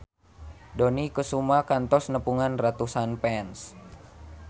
Dony Kesuma kantos nepungan ratusan fans